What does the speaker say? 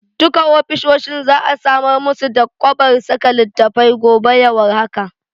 Duka ofisoshin za'a samar musu da kwabar saka littattafai gobe ya war haka.